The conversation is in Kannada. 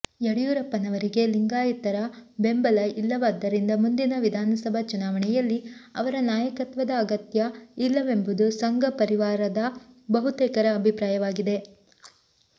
ಯಡಿಯೂರಪ್ಪನವರಿಗೆ ಲಿಂಗಾಯತರ ಬೆಂಬಲ ಇಲ್ಲವಾದ್ದರಿಂದ ಮುಂದಿನ ವಿಧಾನಸಭಾ ಚುನಾವಣೆಯಲ್ಲಿ ಅವರ ನಾಯಕತ್ವದ ಅಗತ್ಯ ಇಲ್ಲವೆಂಬುದು ಸಂಘಪರಿವಾರದ ಬಹುತೇಕರ ಅಭಿಪ್ರಾಯವಾಗಿದೆ